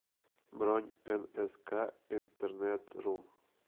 бронь энэска интернетру